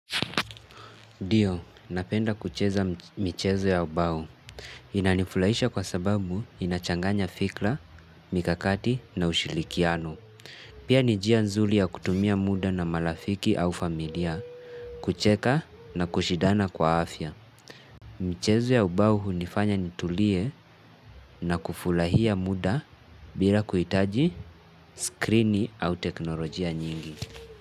Ndio, napenda kucheza michezo ya ubau. Inanifulahisha kwa sababu inachanganya fikra, mikakati na ushirikiano. Pia nijia nzuli ya kutumia muda na malafiki au familia, kucheka na kushidana kwa afya. Michezo ya ubau hunifanya nitulie na kufulahia muda bila kuhitaji, skrini au teknolojia nyingi.